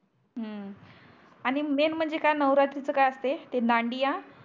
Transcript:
हम्म आणि मेन म्हणजे काय नावरात्रीच काय असते ते दांडिया